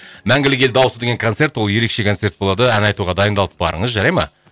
мәңгілік ел дауысы деген концерт ол ерекше концерт болады ән айтуға дайындалып барыңыз жарай ма